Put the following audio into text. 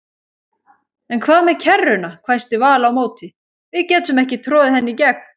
En hvað með kerruna hvæsti Vala á móti, við getum ekki troðið henni í gegn